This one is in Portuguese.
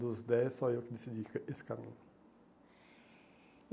Dos dez, só eu que decidi esse caminho.